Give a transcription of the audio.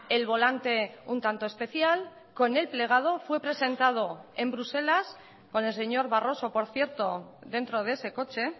el volante un tanto especial con el plegado fue presentado en bruselas con el señor barroso por cierto dentro de ese coche